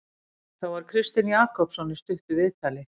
Þá var Kristinn Jakobsson í stuttu viðtali.